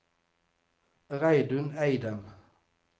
Reidun Eidem